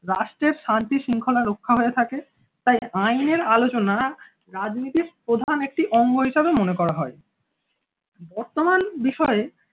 রাষ্ট্রের শান্তি-শৃঙ্খলা রক্ষা হয়ে থাকে, তাই আইনের আলোচনা রাজনীতির প্রধান একটি অঙ্গ হিসাবে মনে করা হয়। বর্তমান বিষয়ে